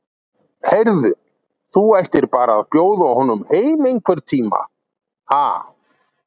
Heyrðu. þú ættir bara að bjóða honum heim einhvern tíma, ha.